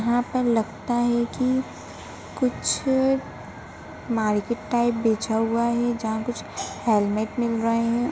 यहाँ पर लगता है कि कुछ मार्केट टाइप बिछा हुआ है जहाँ कुछ हेलमेट मिल रहे है।